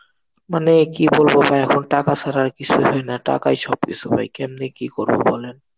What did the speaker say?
মানে কি বলবো ভাই এখন টাকা ছাড়া আর কিছুই হয় না, টাকাই সব কিছু হয়. কেমনে কি করবো বলেন?